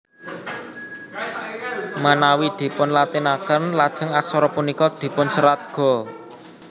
Menawi dipunlatineken lajeng aksara punika dipunserat Ga